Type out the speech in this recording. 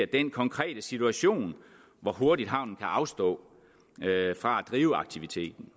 den konkrete situation hvor hurtigt havnen kan afstå fra at drive aktiviteten